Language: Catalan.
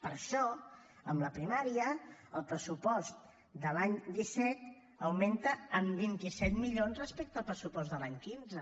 per això en la primària el pressupost de l’any disset augmenta en vint set milions respecte al pressupost de l’any quinze